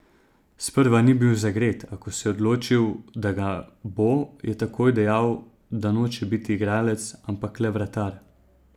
Sprva ni bil zagret, a ko se je odločil, da ga bo, je takoj dejal, da noče biti igralec, ampak le vratar.